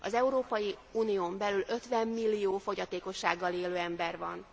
Az Európai Unión belül 50 millió fogyatékossággal élő ember van.